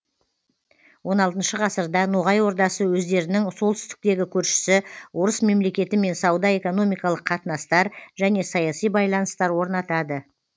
он алтыншы ғасырда ноғай ордасы өздерінің солтүстіктегі көршісі орыс мемлекетімен сауда экономикалық қатынастар және саяси байланыстар орнатады